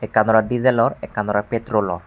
ekkan oley dijelor ekkan oley petrolor.